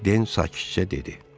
Den sakitcə dedi.